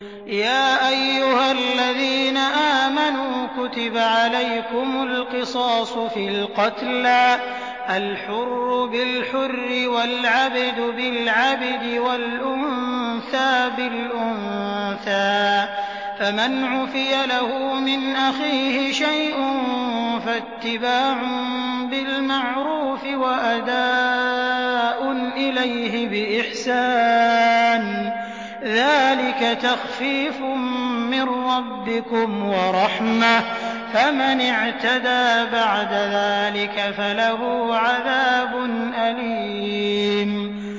يَا أَيُّهَا الَّذِينَ آمَنُوا كُتِبَ عَلَيْكُمُ الْقِصَاصُ فِي الْقَتْلَى ۖ الْحُرُّ بِالْحُرِّ وَالْعَبْدُ بِالْعَبْدِ وَالْأُنثَىٰ بِالْأُنثَىٰ ۚ فَمَنْ عُفِيَ لَهُ مِنْ أَخِيهِ شَيْءٌ فَاتِّبَاعٌ بِالْمَعْرُوفِ وَأَدَاءٌ إِلَيْهِ بِإِحْسَانٍ ۗ ذَٰلِكَ تَخْفِيفٌ مِّن رَّبِّكُمْ وَرَحْمَةٌ ۗ فَمَنِ اعْتَدَىٰ بَعْدَ ذَٰلِكَ فَلَهُ عَذَابٌ أَلِيمٌ